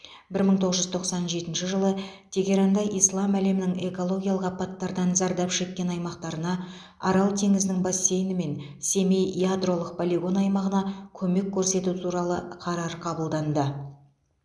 бір мың тоғыз жүз тоқсан жетінші жылы тегеранда ислам әлемінің экологиялық апаттардан зардап шеккен аймақтарына арал теңізінің бассейні мен семей ядролық полигон аймағына көмек көрсету туралы қарар қабылданды